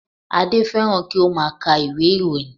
Adé fẹ́ràn kí ó má a ka ìwé ìròyìn